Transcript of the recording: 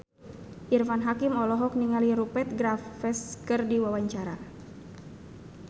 Irfan Hakim olohok ningali Rupert Graves keur diwawancara